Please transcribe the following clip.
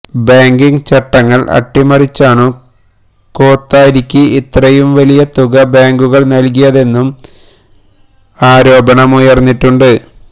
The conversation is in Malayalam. ബാങ്കിങ് ചട്ടങ്ങൾ അട്ടിമറിച്ചാണു കോത്താരിക്ക് ഇത്രയും വലിയ തുക ബാങ്കുകൾ നൽകിയതെന്നും ആരോപണമുയർന്നിട്ടുണ്ട്